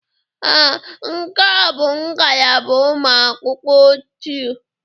Ee, nke a bụ ngalaba ụmụ akwụkwọ ochie.